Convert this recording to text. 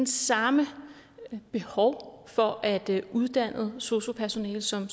samme behov for at uddanne sosu personale som